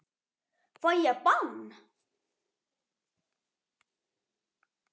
Fæ ég bann?